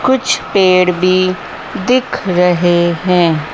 कुछ पेड़ भी दिख रहे है।